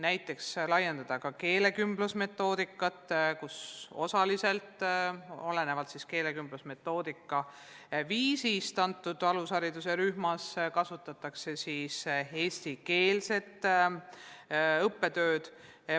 Näiteks saaks laiendada keelekümblusmetoodikat, nii et olenevalt keelekümblusmetoodika viisist konkreetses alushariduse rühmas õpitaks juba eesti keeles.